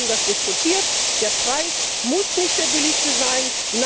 Wir haben das diskutiert. Der Preis muss nicht der niedrigste sein.